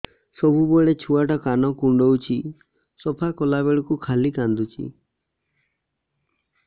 ସବୁବେଳେ ଛୁଆ ଟା କାନ କୁଣ୍ଡଉଚି ସଫା କଲା ବେଳକୁ ଖାଲି କାନ୍ଦୁଚି